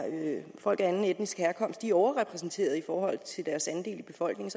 folk af anden etnisk herkomst overrepræsenteret i forhold til deres andel af befolkningen